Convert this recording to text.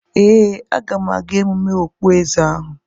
Ee, aga m aga emume okpueze ahu.